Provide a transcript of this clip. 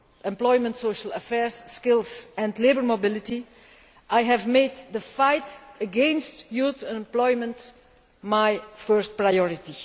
Employment, Social Affairs, Skills and Labour Mobility, I have made the fight against youth unemployment my first priority.